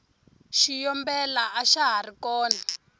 xiyombela axa hari kona